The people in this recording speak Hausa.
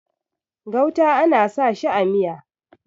gauta ana sa shi a Miya